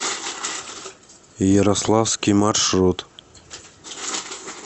ярославский маршрут